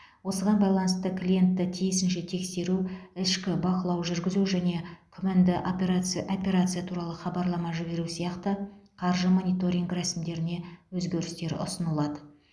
осыған байланысты клиентті тиісінше тексеру ішкі бақылау жүргізу және күмәнді әперация операция туралы хабарлама жіберу сияқты қаржы мониторингі рәсімдеріне өзгерістер ұсынылады